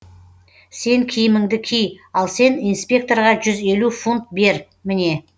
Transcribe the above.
сен киіміңді ки ал сен инспекторға жүз елу фунт бер міне